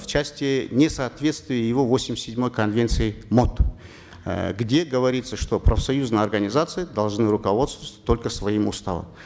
в части несоответствия его восемьдесят седьмой конвенции мот э где говорится что профсоюзные организации должны руководствоваться только своим уставом